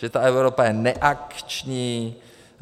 Že ta Evropa je neakční.